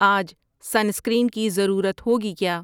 آج sunscreen کی ضرورت ہوگی کیا